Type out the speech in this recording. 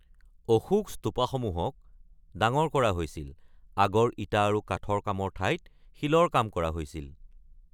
অশোক স্তুপা সমূহক ডাঙৰ কৰা হৈছিল, আগৰ ইটা আৰু কাঠৰ কামৰ ঠাইত শিলৰ কাম কৰা হৈছিল।